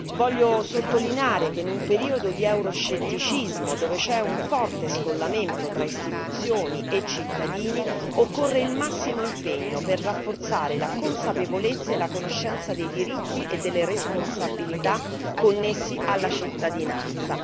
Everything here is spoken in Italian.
Voglio sottolineare che in un periodo di euroscetticismo, dove c'è un forte scollamento tra istituzioni e cittadini, occorre il massimo impegno per rafforzare la consapevolezza e la conoscenza dei diritti e delle responsabilità connessi alla cittadinanza.